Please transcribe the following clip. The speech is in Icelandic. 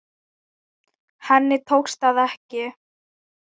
Henni tókst það ekki.